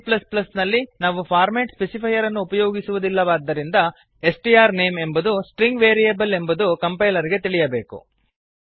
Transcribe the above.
c ನಲ್ಲಿ ನಾವು format specifier ಅನ್ನು ಉಪಯೋಗಿಸುವುದಿಲ್ಲವಾದ್ದರಿಂದ ಸ್ಟ್ರ್ನೇಮ್ ಎಂಬುದು ಸ್ಟ್ರಿಂಗ್ ವೇರಿಯೇಬಲ್ ಎಂಬುದು ಕಂಪೈಲರ್ ಗೆ ತಿಳಿಯಬೇಕು